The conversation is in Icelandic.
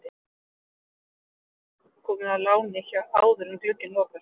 Það gætu einhverjir leikmenn komið á láni áður en glugginn lokar.